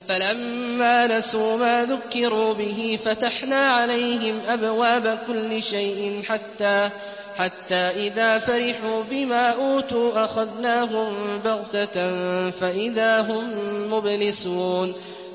فَلَمَّا نَسُوا مَا ذُكِّرُوا بِهِ فَتَحْنَا عَلَيْهِمْ أَبْوَابَ كُلِّ شَيْءٍ حَتَّىٰ إِذَا فَرِحُوا بِمَا أُوتُوا أَخَذْنَاهُم بَغْتَةً فَإِذَا هُم مُّبْلِسُونَ